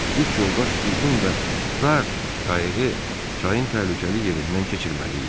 Üç yoldaş uzun və dar qayıqı çayın təhlükəli yerindən keçirməli idi.